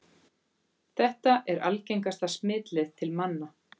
Þetta er algengasta smitleið til manna.